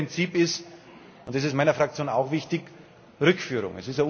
Das dritte Prinzip ist und das ist meiner Fraktion auch wichtig Rückführung.